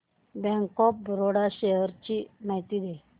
bank of Baroda shares ची माहिती दे